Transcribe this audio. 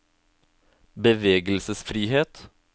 bevegelsesfrihet